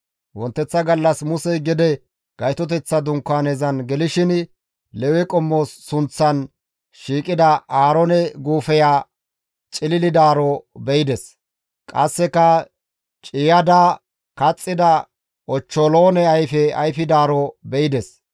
Wonteththa gallas Musey gede Gaytoteththa Dunkaanezan gelishin Lewe qommo sunththan shiiqida Aaroone guufeya cililidaaro be7ides; qasseka ciiyada kaxxida ochcholoone ayfe ayfidaaro be7ides.